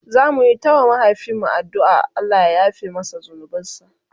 zamuyi ta wa mahaifin mu addu'an Allah ya yafe masa zunubansa